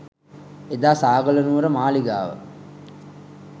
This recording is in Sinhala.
එදා සාගල නුවර මාළිගාව